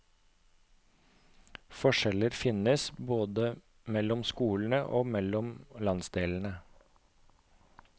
Forskjeller finnes, både mellom skolene og mellom landsdelene.